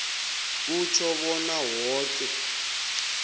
kutjho bona woke